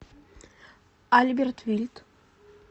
альберт вильт